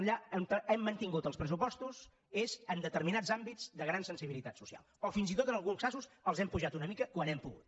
allà on hem mantingut els pressupostos és en determinats àmbits de gran sensibilitat social o fins i tot en alguns casos els hem apujat una mica quan hem pogut